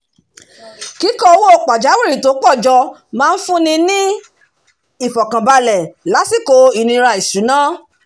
kíkó owó pajáwìrì tó pọ̀ jọ máa ń fún ni ní ìfọ̀kànbalẹ̀ lásìkò ìnira ìṣúná